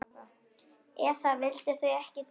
Eða vildu þau ekkert gera?